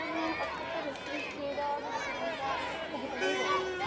ਨੂੰ ਆਪਣੇ ਭਵਿੱਖ ਵਿੱਚ ਇਹਦਾ ਨੁਕਸਾਨ ਤਾਂ ਭੁਗਤਣਾ ਹੀ ਪਵੇਗਾ।